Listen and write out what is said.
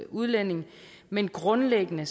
udlænding men grundlæggende